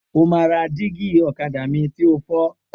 O máa ra dígí ọ̀kadà mi ti o fọ́!